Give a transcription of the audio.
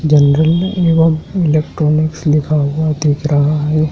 जंगल में एवंम इलेक्ट्रॉनिक्स लिखा हुआ देख रहा है।